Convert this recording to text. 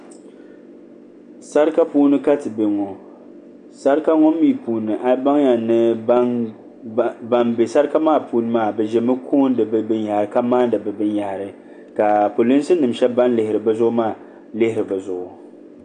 sarika puuni ka ti be ŋɔ sarika ŋɔ mi puuni a baŋya ni ban be sarika maa puuni maa bɛ zami koondi bɛ binyɛhiri ka maandi binyɛhiri ka polinsi nima shɛba lihiri bɛ zuɣu maa lihiri bɛ zuɣu.